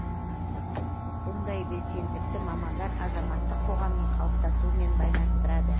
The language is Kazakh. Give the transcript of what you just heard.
бұндай белсенділікті мамандар азаматтық қоғамның қалыптасуымен байланыстырады